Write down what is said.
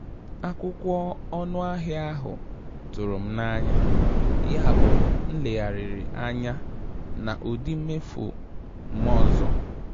Akwụkwọ ọnụ ahịa ahụ tụrụ m n'anya, yabụ m legharịrị anya na ụdị mmefu m ọzọ.